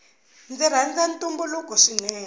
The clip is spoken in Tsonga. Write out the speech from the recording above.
ndzi rhanza ntumbuluko swinene